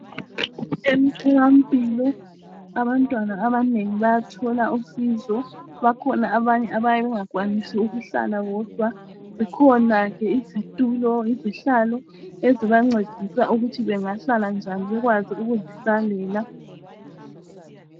Emtholampilo abantwana abanengi bayathola usizo, bakhona abanye abayabe bengakwanisi ukuhlala bodwa. Zikhona ke izitulo, izihlalo ezibancedisayo ukuthi bengahlala njani bekwazi ukuzihlalela.